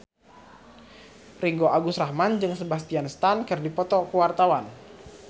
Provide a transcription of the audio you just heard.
Ringgo Agus Rahman jeung Sebastian Stan keur dipoto ku wartawan